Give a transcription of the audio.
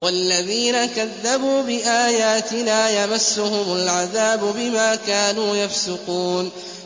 وَالَّذِينَ كَذَّبُوا بِآيَاتِنَا يَمَسُّهُمُ الْعَذَابُ بِمَا كَانُوا يَفْسُقُونَ